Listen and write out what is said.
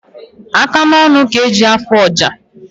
Aka na ọnụ ka eji afụ ọja